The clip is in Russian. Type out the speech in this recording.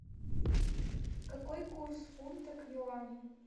какой курс фунта к юаню